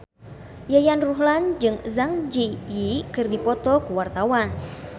Yayan Ruhlan jeung Zang Zi Yi keur dipoto ku wartawan